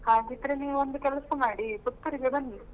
ಹಾಗಿದ್ರೆ ನೀವು ಒಂದು ಕೆಲಸ ಮಾಡಿ Puttur ಗೆ ಬನ್ನಿ.